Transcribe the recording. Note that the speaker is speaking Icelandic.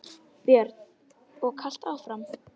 Björn: Og kalt áfram?